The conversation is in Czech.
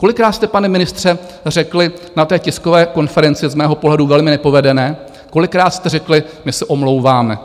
Kolikrát jste, pane ministře, řekli na té tiskové konferenci - z mého pohledu velmi nepovedené - kolikrát jste řekli - my se omlouváme.